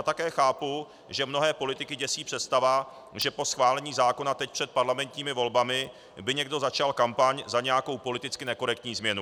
A také chápu, že mnohé politiky děsí představa, že po schválení zákona teď před parlamentními volbami by někdo začal kampaň za nějakou politicky nekorektní změnu.